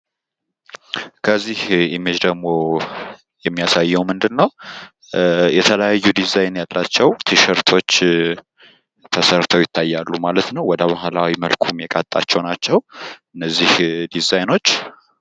ከዚህ ምስል ደግሞ የሚያሳየው ምንድን ነው የተለያዩ ዲዛይን ያላቸው ቲሸርቶች ተሰርተው ይታያሉ ማለት ነው። ወደባህላዊ መልኩም የቃጣቸው ናቸው ማለት ነው እነዚህ ዲዛይኖች።